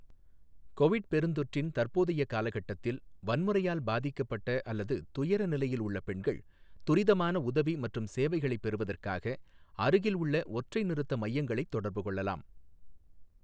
Covid பெருந்தொற்றின் தற்போதைய காலகட்டத்தில் வன்முறையால் பாதிக்கப்பட்ட அல்லது துயர நிலையில் உள்ள பெண்கள், துரிதமான உதவி மற்றும் சேவைகளைப் பெறுவதற்காக அருகில் உள்ள ஒற்றை நிறுத்த மையங்களைத் தொடர்பு கொள்ளலாம்.